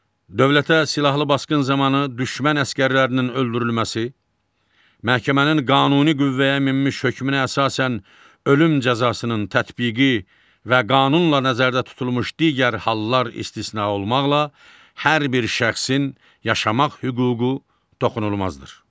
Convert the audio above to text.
Dövlətə silahlı basqın zamanı düşmən əsgərlərinin öldürülməsi, məhkəmənin qanuni qüvvəyə minmiş hökmünə əsasən ölüm cəzasının tətbiqi və qanunla nəzərdə tutulmuş digər hallar istisna olmaqla hər bir şəxsin yaşamaq hüququ toxunulmazdır.